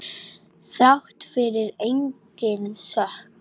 Þrátt fyrir eigin sök.